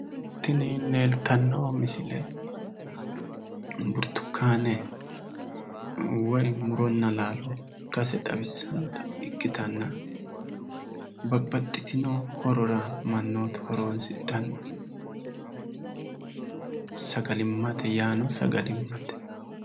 Tini leeltanno misile burtukaane woyi muronna laalo ikkase xawissannota ikkitanna babaxxitino horora mannootu horonsidhanno yaano sagalimmate.